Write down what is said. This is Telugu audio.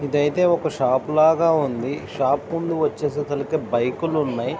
ఇది ఐతే వచ్చేసి ఒక షాపు లాగా ఉంది షాపు ముందు బైకులు ఉన్నాయి.